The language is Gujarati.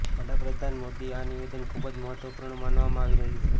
વડાપ્રધાન મોદી આ નિવેદન ખૂબ જ મહત્વપૂર્ણ માનવામાં આવી રહ્યું છે